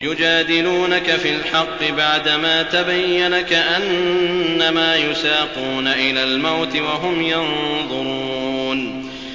يُجَادِلُونَكَ فِي الْحَقِّ بَعْدَمَا تَبَيَّنَ كَأَنَّمَا يُسَاقُونَ إِلَى الْمَوْتِ وَهُمْ يَنظُرُونَ